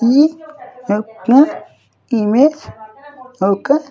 ఈ యొక్క ఇమేజ్ ఒక్క.